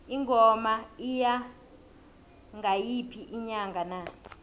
ingoma iya ngayiphi inyanga na